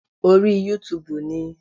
Orí Yútúuùbù ni.